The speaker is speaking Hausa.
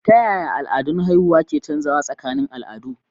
Ta yaya al'adun haihuwa ke canzawa tsakanin al'adu?